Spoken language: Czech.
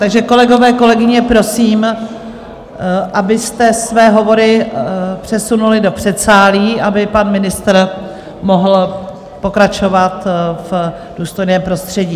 Takže kolegové, kolegyně, prosím, abyste své hovory přesunuli do předsálí, aby pan ministr mohl pokračovat v důstojném prostředí.